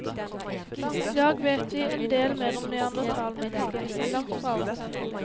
I dag vet vi en del mer om neandertalmennesket, men langt fra alt.